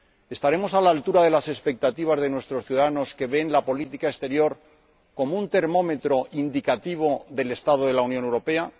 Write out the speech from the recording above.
¿Estaremos a la altura de las expectativas de nuestros ciudadanos, que ven la política exterior como un termómetro indicativo del estado de la Unión Europea?